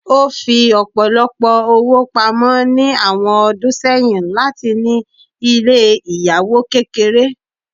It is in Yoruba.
O fí ọpọlọpọ ọwó pámọ ni awọn ọdún sẹyìn latí ní ilé ìyàwò kékeré.